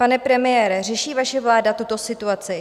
Pane premiére, řeší vaše vláda tuto situaci?